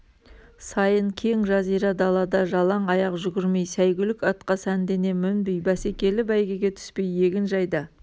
сайын кең жазира далада жалаң аяқ жүгірмей сәйгүлік атқа сәндене мінбей бәсекелі бәйгеге түспей егінжайда